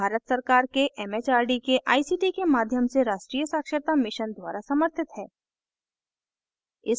यह भारत सरकार के it it आर डी के आई सी टी के माध्यम से राष्ट्रीय साक्षरता mission द्वारा समर्थित है